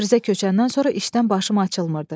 Təbrizə köçəndən sonra işdən başım açılmırdı.